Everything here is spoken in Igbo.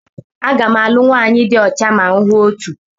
Aga m alụ nwanyị di ocha ma m hụ otu.